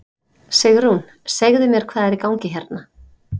Sigrún segðu mér hvað er í gangi hérna?